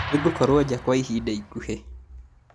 Nĩngũkorwo nja kwa ihinda ikuhĩ